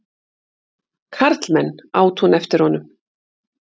Karlmenn! át hún eftir honum.